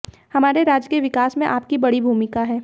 हमारे राज्य के विकास में आपकी बड़ी भूमिका है